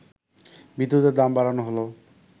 বিদ্যুতের দাম বাড়ানো হল